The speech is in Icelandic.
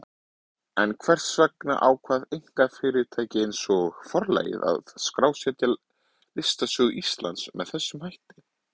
En hvers vegna ákvað einkafyrirtæki eins og Forlagið að skrásetja listasögu Íslands með þessum hætti?